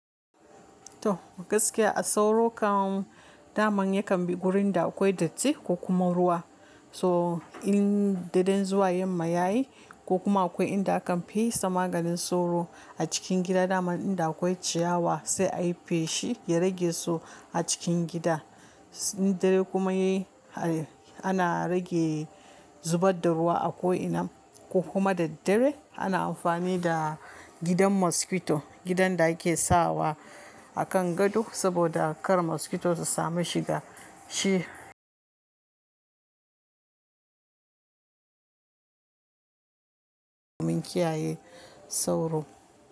To gaskiya a sauro kan dama yakan bi wurin da akwai datti ko kuma ruwa. So in da dan zuwa yamma yayi ko kuma akwai inda akan fesa maganin sauro a cikin gida, dama inda akwai ciyawa sai ayi feshi ya rage su a cikin gida. Dare kuma yayi ana rage zubar da ruwa a ko ina ko kuma da dare ana amfani da gidan mosquito, gidan da ake sawa a kan gado saboda kar mosquito su sami shiga shi. Mun kiyaye sauro.